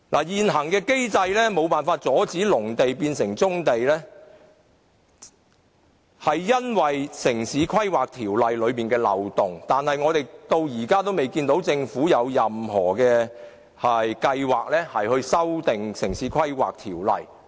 現行機制無法阻止農地變成棕地，其原因在於《城市規劃條例》存在漏洞，但我們至今仍未看見政府有任何計劃修訂《城市規劃條例》。